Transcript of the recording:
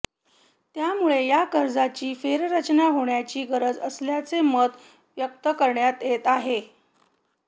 त्यामुळे या कर्जाची फेररचना होण्याची गरज असल्याचे मत व्यक्त करण्यात येत आहे